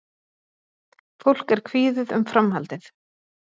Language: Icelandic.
Fólk er kvíðið um framhaldið